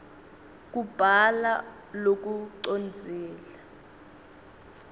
kubhala lokucondzile